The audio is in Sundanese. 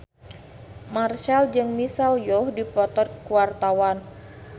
Marchell jeung Michelle Yeoh keur dipoto ku wartawan